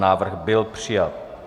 Návrh byl přijat.